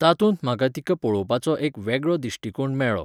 तातूंत म्हाका तिका पळोवपाचो एक वेगळो दिश्टीकोण मेळ्ळो.